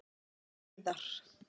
Eiðar